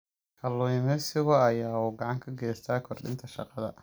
Kalluumaysigu waxa uu gacan ka geystaa kordhinta shaqada.